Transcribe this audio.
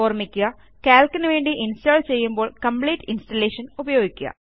ഓർമ്മിക്കുകCalcനുവേണ്ടി install ചെയ്യുമ്പോൾ complete installation ഉപയോഗിക്കുക